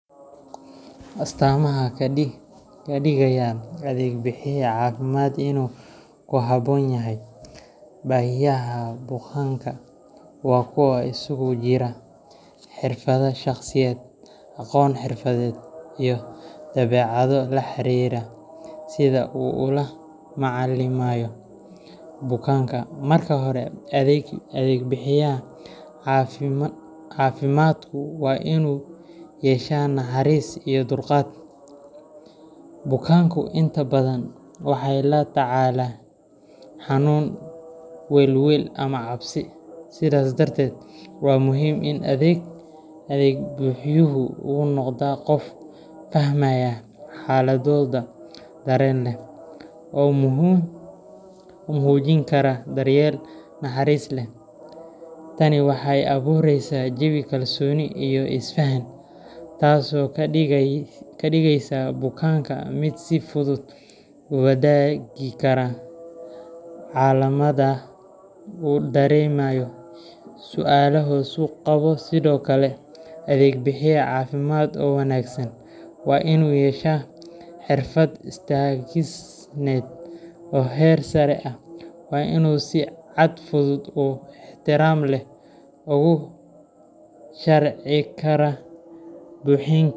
Astaamaha ka dhigaya adeeg bixiye caafimaad inuu ku habboon yahay baahiyaha bukaanka waa kuwo isugu jira xirfado shaqsiyadeed, aqoon xirfadeed, iyo dabeecado la xiriira sida uu ula macaamilayo bukaanka. Marka hore, adeeg bixiyaha caafimaadku waa inuu yeeshaa naxariis iyo dulqaad. Bukaanku inta badan waxay la tacaalayaan xanuun, welwel ama cabsi, sidaas darteed waa muhiim in adeeg bixiyuhu uu noqdo qof fahmaya xaaladdooda, dareen leh, oo u muujin kara daryeel naxariis leh. Tani waxay abuureysaa jawi kalsooni iyo isfahan, taasoo ka dhigaysa bukaanka mid si fudud u wadaagi kara calaamadaha uu dareemayo iyo su'aalaha uu qabo. Sidoo kale, adeeg bixiye caafimaad oo wanaagsan waa inuu yeeshaa xirfado isgaarsiineed oo heer sare ah. Waa in uu si cad, fudud, oo ixtiraam leh ugu sharxi karaa bikiinka .